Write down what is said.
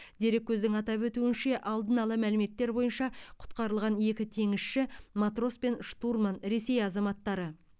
дереккөздің атап өтуінше алдын ала мәліметтер бойынша құтқарылған екі теңізші матрос пен штурман ресей азаматтары